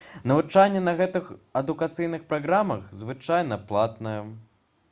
навучанне на гэтых адукацыйных праграмах звычайна платнае